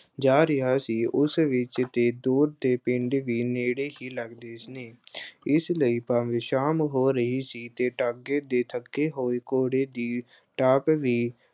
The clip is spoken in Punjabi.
ਜਾ ਰਿਹਾ ਸੀ ਉਸ ਵਿੱਚ ਤੇ ਦੂਰ ਦੇ ਪਿੰਡ ਵੀ ਨੇੜੇ ਹੀ ਲੱਗਦੇ ਨੇ। ਇਸ ਲਈ ਭਾਵੇਂ ਸ਼ਾਮ ਹੋ ਰਹੀ ਸੀ ਤੇ ਤਾਂਗੇ ਦੇ ਥੱਕੇ ਹੋਏ ਘੌੜੇ ਦੀ ਚਾਲ ਵੀ